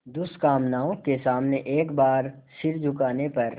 दुष्कामनाओं के सामने एक बार सिर झुकाने पर